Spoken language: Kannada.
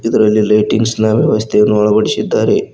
ಇದರಲ್ಲಿ ಲೈಟಿಂಗ್ಸ್ ನ ವ್ಯವಸ್ಥೆಯನ್ನು ಅಳವಡಿಸಿದ್ದಾರೆ.